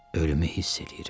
Ölümü hiss eləyirəm.